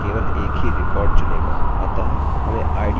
order करना कोई विषय नहीं हैअतः हम इसे अभी इसी तरह से छोड़ सकते हैं